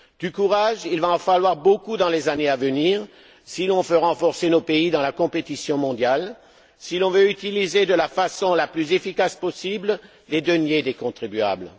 Du courage, il va en falloir beaucoup dans les années à venir, si l'on veut renforcer nos pays dans la compétition mondiale, si l'on veut utiliser de la façon la plus efficace possible les deniers des contribuables.